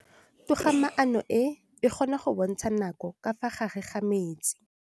Toga-maanô e, e kgona go bontsha nakô ka fa gare ga metsi.